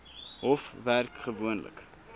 hof werk gewoonlik